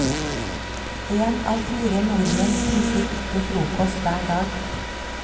En av fire nordmenn spiser ikke frokost hver dag.